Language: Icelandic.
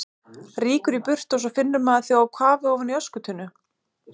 Rýkur í burtu og svo finnur maður þig á kafi ofan í öskutunnu!